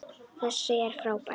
Þessi er frábær!